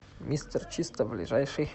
мистер чисто ближайший